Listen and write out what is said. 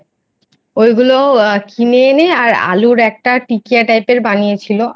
ওই গুলো কিনে এনে আর আলুর একটা টিকিয়া Type এর বানিয়ে নিয়ে এনে ছিলো